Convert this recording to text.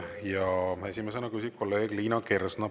Ja esimesena küsib kolleeg Liina Kersna.